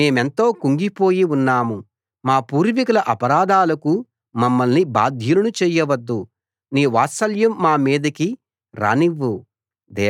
మేమెంతో కుంగిపోయి ఉన్నాం మా పూర్వీకుల అపరాధాలకు మమ్మల్ని బాధ్యులను చేయవద్దు నీ వాత్సల్యం మా మీదికి రానివ్వు